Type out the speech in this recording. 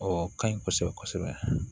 O ka ɲi kosɛbɛ kosɛbɛ